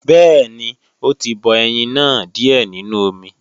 Bẹ́ẹ̀ni ó tí bọ ẹyin náà díè nínú omi